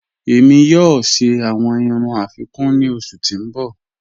Ẹ̀mi yọọ̀ ṣẹ awọn irùn afikún ni ọṣù ti n bọ́.